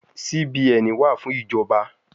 CBN wa fun ijọba